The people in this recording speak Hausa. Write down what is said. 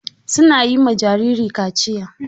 Su na yi ma jariri kaciya.